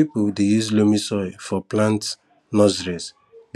people dey use loamy soil for plant nurseries